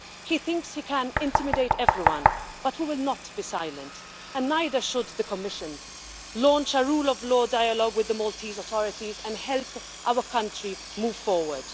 He thinks he can intimidate everyone, but we will not be silent, and neither should the Commission it should launch a rule of law dialogue with the Maltese authorities and help our country move forward.